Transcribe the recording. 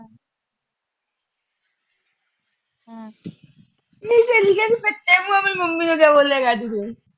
ਨੀ ਸਹੇਲੀਏ ਪੱਟੀਏ, ਮੰਮੀ ਨੂੰ ਕਿਆ ਬੋਲੇਗਾ ਅੱਜ ਫੇਰ।